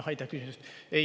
Aitäh küsimuse eest!